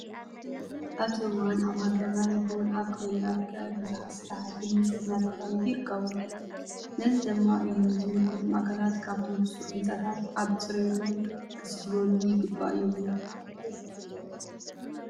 ኣብዚ ሕዚ እዋን ኣብ ሃገርና ይኹን ኣብ ክልልና ትግራይ ብዙሓት ስራሕቲ ህንፀት እናተካየዱ ይርከቡ። ነዚ ድማ እዩ ዝምልከቶም ኣካላት ኣብቶም ዝስርሑ ህንፃታት ኣብ ፅርየቶም ክሕሰበሉ ይግባእ ይብሉ።